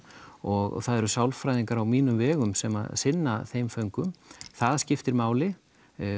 og það eru sálfræðingar á mínum vegum sem sinna þeim föngum það skiptir máli